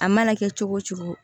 A mana kɛ cogo o cogo